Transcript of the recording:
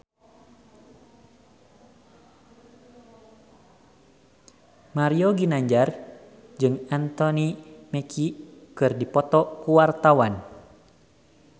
Mario Ginanjar jeung Anthony Mackie keur dipoto ku wartawan